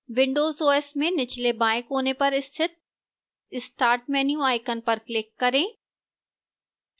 windows os में निचले बाएं कोने पर स्थित start menu icon पर click करें